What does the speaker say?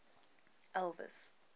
elvis